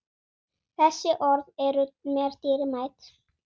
Þessi orð eru mér dýrmæt.